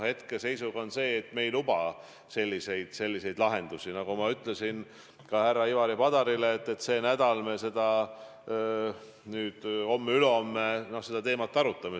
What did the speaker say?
Hetkeseisuga me ei luba selliseid lahendusi, aga nagu ma ütlesin ka härra Ivari Padarile, see nädal, homme-ülehomme me seda teemat arutame.